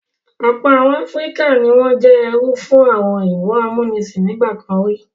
Ọ̀pọ̀ àwọn ilẹ̀ Áfíríkà ni wọ́n jẹ́ ẹrú fún àwọn òyìnbó amúnisìn nígbà kan rí.